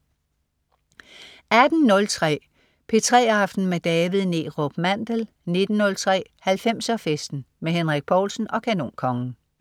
18.03 P3 aften med David Neerup Mandel 19.03 90'er Festen. Henrik Povlsen og Kanonkongen